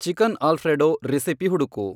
chicken Alfredo recipe ಹುಡುಕು